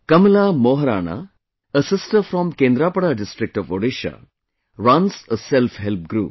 Kamala Moharana, a sister from Kendrapada district of Odisha, runs a selfhelp group